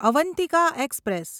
Avantika express